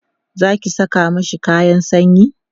Zaki Saka mashi kayan sanyi?